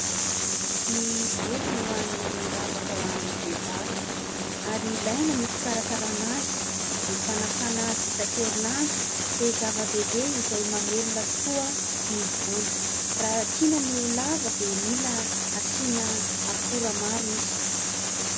Ny volo no hany ravaka ho an'ny vehivavy ary ilaina ny fikarakarana azy, ny fanasana azy isan-kerin'andro dia zava-dehibe izay mamelona tokoa ny volo. Raha tiana ny ho lava dia mila asiana akora maro izy.